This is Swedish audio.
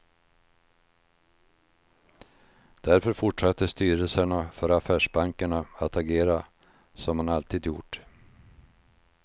Därför fortsatte styrelserna för affärsbankerna att agera som man alltid gjort.